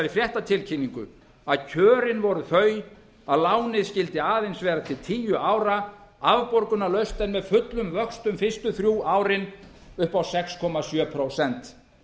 fréttatilkynningu að kjörin voru þau að lánið skyldi aðeins vera til tíu ára afborgunarlaust en með fullum vöxtum fyrstu þrjú árin upp á sex komma sjö prósent